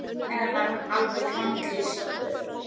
Eða var hann alveg grandalaus sjálfur?